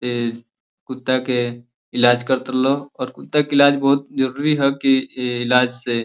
ए कुत्ता के इलाज करता लो और कुत्ता के इलाज बहुत जरुरी ह कि ए इलाज से --